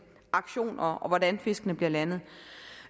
aktioner og til hvordan fiskene bliver landet